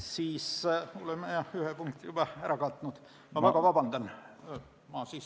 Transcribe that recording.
Siis oleme ühe punkti juba ära katnud – palun väga vabandust!